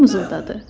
O mızıldadı.